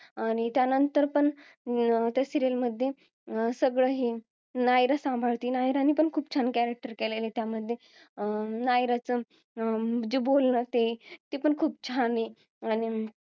आणि त्यानंतर पण अं त्या serial मध्ये सगळं हे अं नायरा सांभाळते नायरा ने पण serial मध्ये खूप छान character केला आहे नायराचं जे बोलनं ते पण खूप छान आहे अन